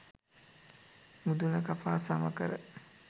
මුදුන කපා සම කර,